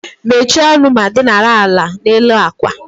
Mechie ọnụ ma dinara ala n'elu àkwà